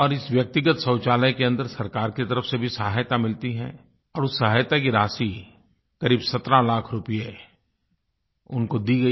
और इस व्यक्तिगत शौचालय के अन्दर सरकार की तरफ़ से भी सहायता मिलती है और उस सहायता की राशि क़रीब 17 लाख रुपये उनको दी गई